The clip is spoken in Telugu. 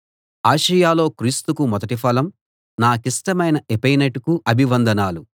ఆసియలో క్రీస్తుకు మొదటి ఫలం నాకిష్టమైన ఎపైనెటుకు అభివందనాలు